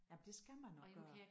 Jamen det skal man også gøre